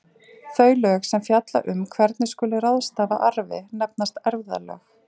Þau lög sem fjalla um hvernig skuli ráðstafa arfi nefnast erfðalög.